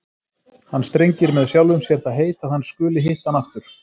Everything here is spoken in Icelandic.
Hann strengir með sjálfum sér það heit að hann skuli hitta hana aftur!